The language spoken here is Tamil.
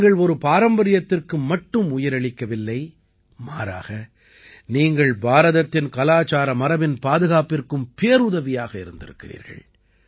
நீங்கள் ஒரு பாரம்பரியத்திற்கு மட்டும் உயிர் அளிக்கவில்லை மாறாக நீங்கள் பாரதத்தின் கலாச்சார மரபின் பாதுகாப்பிற்கும் பேருதவியாக இருந்திருக்கிறீர்கள்